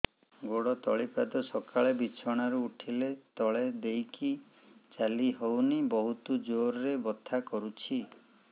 ଗୋଡ ତଳି ପାଦ ସକାଳେ ବିଛଣା ରୁ ଉଠିଲେ ତଳେ ଦେଇକି ଚାଲିହଉନି ବହୁତ ଜୋର ରେ ବଥା କରୁଛି